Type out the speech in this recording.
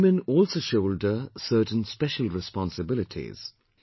But women also shoulder certain special responsibilities